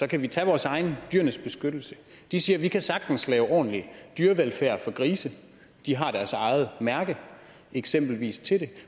kan vi tage vores egen dyrenes beskyttelse de siger vi kan sagtens lave ordentlig dyrevelfærd for grise de har deres eget mærke eksempelvis til det